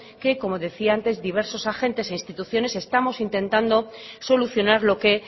que como decía antes diversos agentes e instituciones estamos intentando solucionar lo que